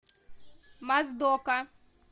моздока